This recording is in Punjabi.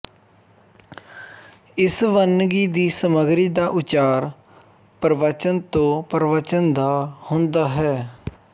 ਇਸ ਵੰਨਗੀ ਦੀ ਸਮੱਗਰੀ ਦਾ ਉਚਾਰ ਪ੍ਰਵਚਨ ਤੋ ਪ੍ਰਵਚਨ ਦਾ ਹੁੰਦਾ ਹੈ